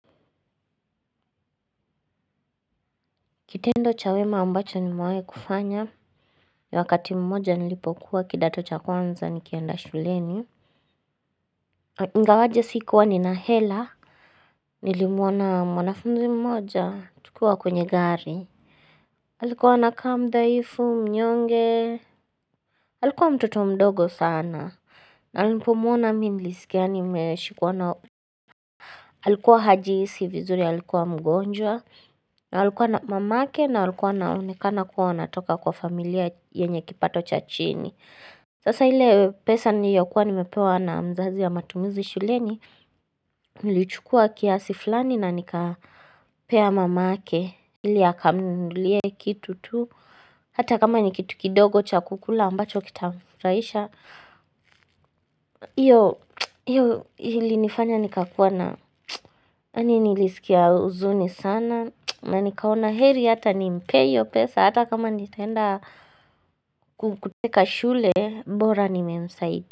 Kitendo cha wema ambacho nimewahi kufanya ni wakati mmoja nilipokuwa kidato cha kwanza nikienda shuleni ingawaje sikuwa nina hela nilimwona mwanafunzi mmoja tukiwa kwenye gari alikuwa anakaa mdhaifu mnyonge Alikuwa mtoto mdogo sana na nilipomwona mii niliskia nimeshikwa na alikuwa hajihisi vizuri alikuwa mgonjwa alikuwa na mamake na alikuwa anaonekana kuwa atoka kwa familia yenye kipato cha chini Sasa ile pesa niyokuwa nimepewa na mzazi ya matumizi shuleni Nili chukua kiasi fulani na nikapea mamake ili akamnunulie kitu tu Hata kama nikitu kidogo cha kukula ambacho kitamfurahisha hiyo ilinifanya nikakuwa na nilisikia huzuni sana na nikaona heri ata nimpee hiyo pesa Hata kama nitaenda kuteka shule bora nimemsaidia.